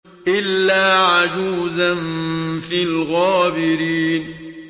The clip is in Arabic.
إِلَّا عَجُوزًا فِي الْغَابِرِينَ